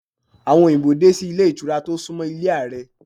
Àwọn òyìnbó dé sí ilé ìtura tó sún mọ́ ilé Ààrẹ.